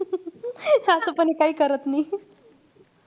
तस पण हे काई करत नाई.